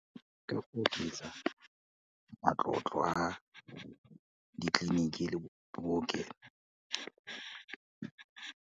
Ka go oketsa matlotlo a ditleliniki le bookelo.